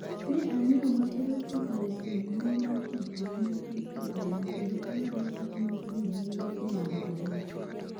Ne ang'eyo Margreth kokalo kuom mbui mar tudruok mar instagram, kendo ang'ado wach mar dhi limbe e ode e Arusha.